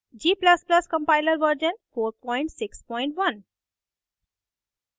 g ++ compiler version 461